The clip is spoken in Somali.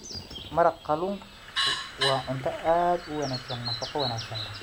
Maraq kalluunku waa cunto aad u wanaagsan nafaqo wanaagsan.